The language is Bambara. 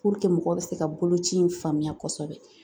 mɔgɔ bɛ se ka boloci in faamuya kosɛbɛ